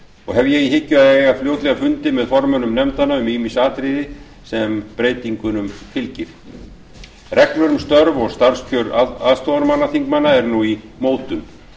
og hef ég í hyggju að eiga fljótlega fundi með formönnum nefndanna um ýmis atriði sem breytingunum fylgja reglur um störf og starfskjör formanna þingmanna er nú í mótun